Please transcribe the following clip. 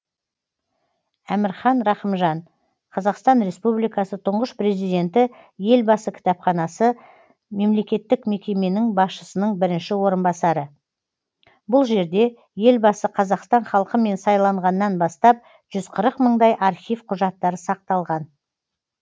әмірхан рақымжан қазақстан республикасы тұңғыш президенті елбасы кітапханасы мемлекеттік мекеменің басшысының бірінші орынбасары бұл жерде елбасы қазақстан халқымен сайланғаннан бастап жүз қырық мыңдай архив құжаттары сақталған